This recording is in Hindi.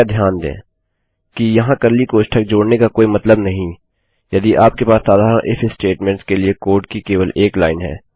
कृपया ध्यान दें कि यहाँ कर्ली कोष्ठक जोड़ने का कोई मतलब नहीं यदि आपके पास साधारण इफ statementsस्टेट्मेन्ट के लिए कोड की केवल एक लाइन है